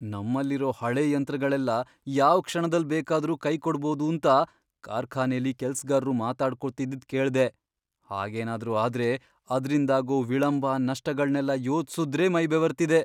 ನಮ್ಮಲ್ಲಿರೋ ಹಳೇ ಯಂತ್ರಗಳೆಲ್ಲ ಯಾವ್ ಕ್ಷಣದಲ್ ಬೇಕಾದ್ರೂ ಕೈಕೊಡ್ಬೋದೂಂತ ಕಾರ್ಖಾನೆಲಿ ಕೆಲ್ಸ್ಗಾರ್ರು ಮಾತಾಡ್ಕೊತಿದ್ದಿದ್ ಕೇಳ್ದೆ, ಹಾಗೇನಾದ್ರೂ ಆದ್ರೆ ಅದ್ರಿಂದಾಗೋ ವಿಳಂಬ, ನಷ್ಟಗಳ್ನೆಲ್ಲ ಯೋಚ್ಸುದ್ರೇ ಮೈ ಬೆವರ್ತಿದೆ.